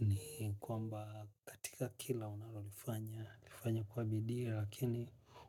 ni kwamba katika kila unalolifanya kwa bidi lakini